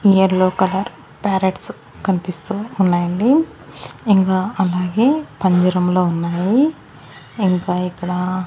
near లో colour parrots కనిపిస్తూ ఉన్నాయండి ఇంకా అలాగే పంజరంలో ఉన్నాయి ఇంకా ఇక్కడ--